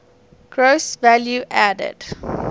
gross value added